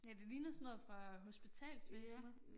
Ja det ligner sådan noget fra hospitalsvæsenet